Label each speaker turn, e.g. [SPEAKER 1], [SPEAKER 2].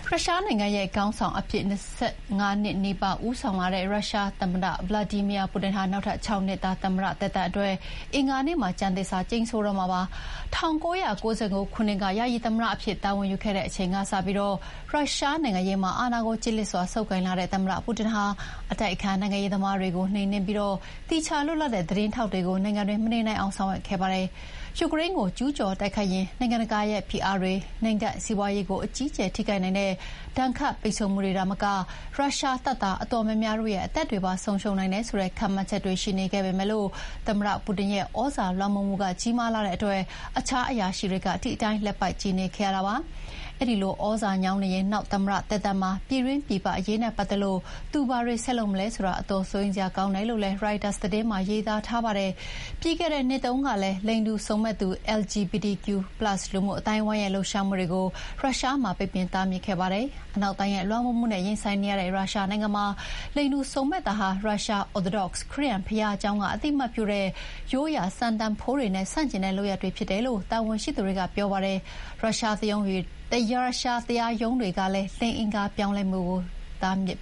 [SPEAKER 1] ရုရှားနိုင်ငံရဲ့ခေါင်းဆောင်အဖြစ် ၂၅ နှစ်နီးပါး ဦးဆောင်လာတဲ့ ရုရှားသမ္မတ ဗလာဒီမီယာပူတင်ဟာ နောက်ထပ် ၆ နှစ်တာ သမ္မတသက်တမ်းအတွက် အင်္ဂါနေ့မှာ ကျမ်းသစ္စာကျိန်ဆိုတော့မှာပါ။ ၁၉၉၉ ခုနှစ်က ယာယီသမ္မတအဖြစ် တာဝန်ယူခဲ့တဲ့အချိန်ကစပြီး ရုရှားနိုင်ငံရေးမှာ အာဏာကို ကျစ်လျစ်စွာဆုပ်ကိုင်လာတဲ့ သမ္မတပူတင်ဟာ အတိုက်အခံနိုင်ငံရေးသမားတွေကိုနှိမ်နှင်းပြီး သီးခြားလွတ်လပ်တဲ့ သတင်းထောက်တွေကို နိုင်ငံတွင်း မနေနိုင်အောင် ဆောင်ရွက်ခဲ့ပါတယ်။ ယူကရိန်းကို ကျူးကျော်တိုက်ခိုက်ရင် နိုင်ငံတကာရဲ့ဖိအားတွေ၊ နိုင်ငံစီးပွါးရေးကို အကြီးအကျယ်ထိခိုက်နိုင်တဲ့ ဒဏ်ခတ်ပိတ်ဆို့မှုတွေသာမက ရုရှားတပ်သား အတော်များများတို့ရဲ့အသက်တွေပါ ဆုံးရှုံးနိုင်တယ်ဆိုတဲ့ ခန့်မှန်းချက်တွေ ရှိနေခဲ့ပေမယ့်လည်း သမ္မတပူတင်ရဲ့ သြဇာလွှမ်းမိုးမှုကြီးမားလှတဲ့အတွက် အခြားအရာရှိတွေ ဒီအတိုင်းလက်ပိုက်ကြည့်နေခဲ့ရတာပါ။ အဲဒီလိုသြဇာညောင်းနေရင် နောက်သမ္မတသက်တမ်းမှာ ပြည်တွင်းပြည်ပအရေးနဲ့ပတ်သက်လို့ သူဘာတွေဆက်လုပ်မလဲဆိုတာ အတော်စိုးရိမ်စရာကောင်းတယ်လို့ ရိုက်တာသတင်းမှာရေးသားထားပါတယ်။ ပြီးခဲ့တဲ့နှစ်တုန်းကလည်း လိင်တူစုံမက်သူ LGBTQ+ လူမှုအသိုင်းအဝိုင်းရဲ့ လှုပ်ရှားမှုတွေကို ရုရှားမှာ ပိတ်ပင်တားမြစ်ခဲ့ပါတယ်။ အနောက်တိုင်းရဲ့လွှမ်းမိုးမှုနဲ့ရင်ဆိုင်နေရတဲ့ ရုရှားနိုင်ငံမှာ လိင်တူစုံမက်တာဟာ ရုရှား Orthodox ခရစ်ယာန်ဘုရားကျောင်းက အသိအမှတ်ပြုတဲ့ ရိုးရာစံတန်ဖိုးတွေနဲ့ ဆန့်ကျင်တဲ့လုပ်ရပ်တွေဖြစ်တယ်လို့ တာဝန်ရှိသူတွေက ပြောပါတယ်။ ရုရှားတရားရုံးတွေကလည်း လိင်အင်္ဂါပြောင်းလဲမှုကို တားမြစ်